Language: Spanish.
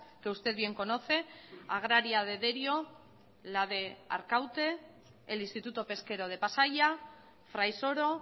que usted bien conoce agraria de derio la de arkaute el instituto pesquero de pasaia fraisoro